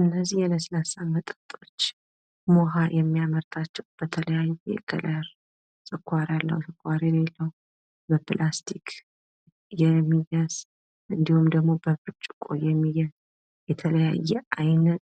እነዚህ የለስላሳ መጠጦች ሙሀ የሚያመርታቸው በተለያየ ከለር ፣ስኳር ያለው ፣ስኳር የሌለው በፕላስቲእ የሚያዝ እንዲሁም ደግሞ በብርጭቆ የሚያዝ የተለያየ አይነት